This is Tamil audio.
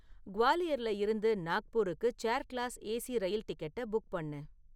குவாலியர்ல இருந்து நாக்பூருக்கு சேர் கிளாஸ் ஏசி ரயில் டிக்கெட்டை புக் பண்ணு